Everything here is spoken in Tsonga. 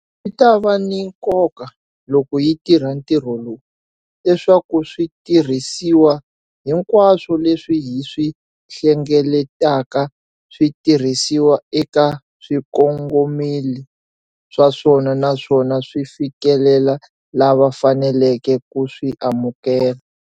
Swi ta va ni nkoka, loko hi tirha ntirho lowu, leswaku switirhisiwa hinkwaswo leswi hi swi hlengeletaka swi tirhisiwa eka swikongomelo swa swona naswona swi fikelela lava faneleke ku swi amukela.